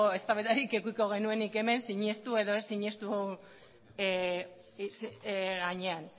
eztabaidarik edukiko genuenik hemen sinetsi edo ez sinetsi gainean